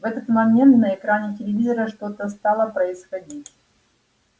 в этот момент на экране телевизора что-то стало происходить